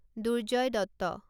Durjoy Dutta